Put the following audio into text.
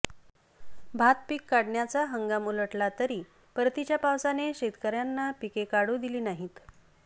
भात पीक काढण्याचा हंगाम उलटला तरी परतीच्या पावसाने शेतकऱ्यांना पिके काढून दिली नाहीत